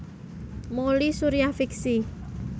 Mouly Surya fiksi